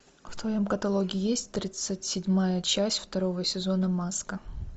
в твоем каталоге есть тридцать седьмая часть второго сезона маска